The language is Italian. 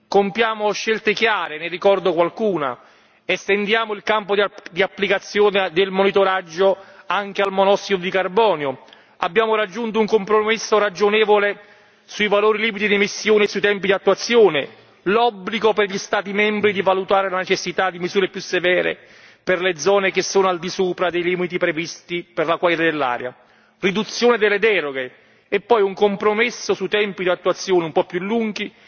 Compiamo scelte chiare, ne ricordo qualcuna, estendiamo il campo di applicazione del monitoraggio anche al monossido di carbonio, abbiamo raggiunto un compromesso ragionevole sui valori limite di emissione sui tempi di attuazione, l'obbligo per gli Stati membri di valutare la necessità di misure più severe per le zone che sono al di sopra dei limiti previsti per la qualità dell'aria, riduzione delle deroghe e poi un compromesso sui tempi d'attuazione un po' più lunghi